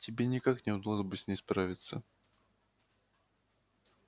тебе никак не удалось бы с ней справиться